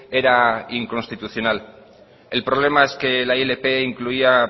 era inconstitucional el problema es que la ilp incluía